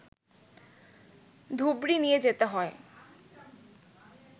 ধুবড়ি নিয়ে যেতে হয়